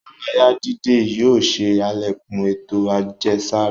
Ìdárayà dídẹ̀ yóò ṣè alẹ́kún ètò ajẹsara.